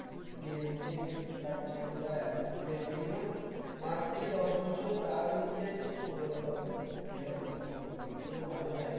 দিয়ে দিচ্ছে কিন্তু তার জীবনটা একদম মানে minimum পাঁচ থেকে দশ বছর তার নিচে তো সে সফলতা পাবে না network marketing করতে গেলে তুই তো ভালো করে জানিস